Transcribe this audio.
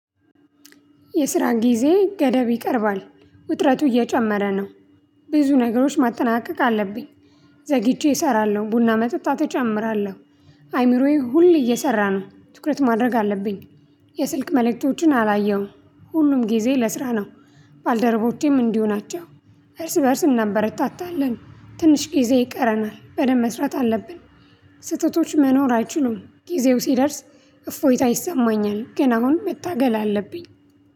የስራ ጊዜ ገደብ ይቀርባል ውጥረቱ እየጨመረ ነው። ብዙ ነገሮች ማጠናቀቅ አለብኝ። ዘግይቼ እሰራለሁ ቡና መጠጣት እጨምራለሁ። አይምሮዬ ሁሌ እየሰራ ነው ትኩረት ማድረግ አለብኝ። የስልክ መለከክቶችን አላየሁም ሁሉም ጊዜ ለስራ ነው። ባልደረቦቼም አቸው እርስ በእርስ እናበረታታለን ትንሽ ጊዜ ይቀረናል በደንብ መስራት አለብን። ስህተቶች መኖር አይችሉም ጊዜው ሲደርስ። እፎይታ ይሰማኛል ግን አሁን መታገል አለብኝ።